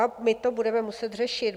A my to budeme muset řešit.